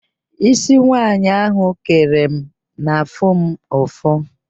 Ísí nwaanyị ahụ kere m na-afụ mụ ụfụ.